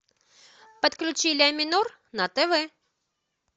подключи ля минор на тв